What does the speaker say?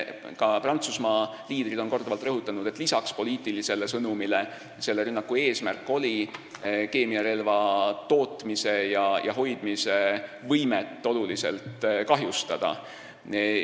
Ka Prantsusmaa liidrid on korduvalt rõhutanud, et peale poliitilise sõnumi edastamise oli selle rünnaku eesmärk keemiarelva tootmise ja hoidmise võimet oluliselt kahjustada.